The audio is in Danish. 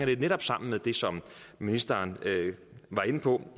det netop sammen med det som ministeren var inde på